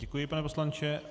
Děkuji, pane poslanče.